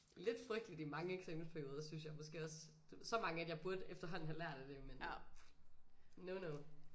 Lidt frygteligt i mange eksamensperioder synes jeg måske også så mange at jeg burde efterhånden have lært af det men no no